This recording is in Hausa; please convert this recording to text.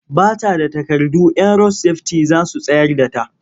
Ba ta da takardu 'yan rod-sefiti za su tsayar da ta.